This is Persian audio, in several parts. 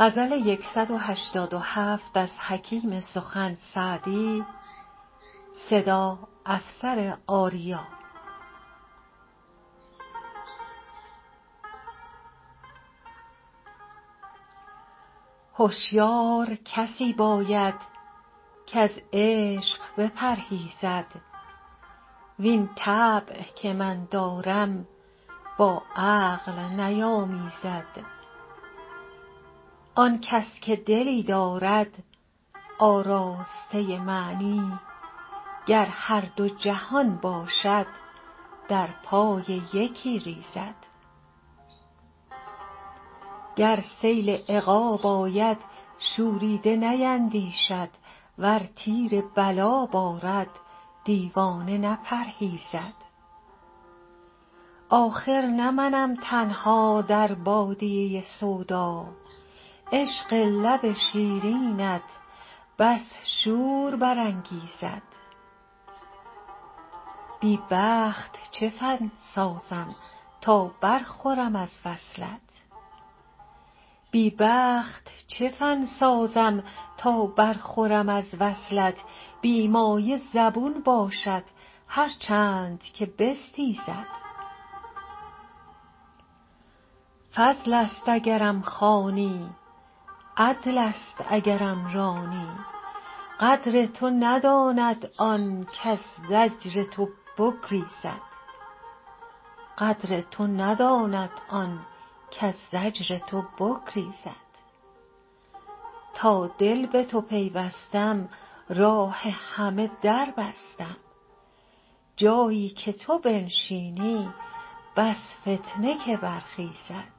هشیار کسی باید کز عشق بپرهیزد وین طبع که من دارم با عقل نیامیزد آن کس که دلی دارد آراسته معنی گر هر دو جهان باشد در پای یکی ریزد گر سیل عقاب آید شوریده نیندیشد ور تیر بلا بارد دیوانه نپرهیزد آخر نه منم تنها در بادیه سودا عشق لب شیرینت بس شور برانگیزد بی بخت چه فن سازم تا برخورم از وصلت بی مایه زبون باشد هر چند که بستیزد فضل است اگرم خوانی عدل است اگرم رانی قدر تو نداند آن کز زجر تو بگریزد تا دل به تو پیوستم راه همه در بستم جایی که تو بنشینی بس فتنه که برخیزد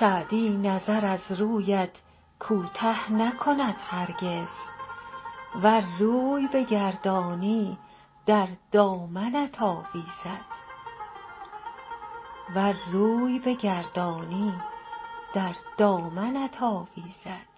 سعدی نظر از رویت کوته نکند هرگز ور روی بگردانی در دامنت آویزد